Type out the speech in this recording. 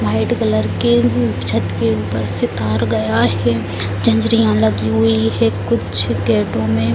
white colour के छत के ऊपर से तार गया है झंजरीयां लगी हुई है कुछ गेटो में --